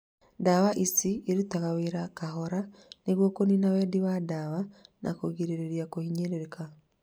Ndawa ici irutaga wĩra kahora nĩguo kũnina wendi wa ndawa na kũgirĩria kũhinyĩrĩrĩka